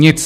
Nic.